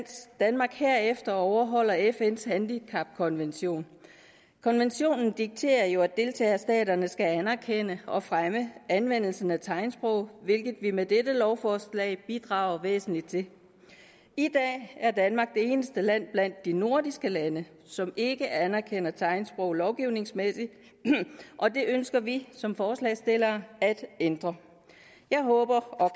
danmark herefter overholder fns handicapkonvention konventionen dikterer jo at deltagerstaterne skal anerkende og fremme anvendelsen af tegnsprog hvilket vi med dette lovforslag bidrager væsentligt til i dag er danmark det eneste land blandt de nordiske lande som ikke anerkender tegnsprog lovgivningsmæssigt og det ønsker vi som forslagsstillere at ændre jeg håber og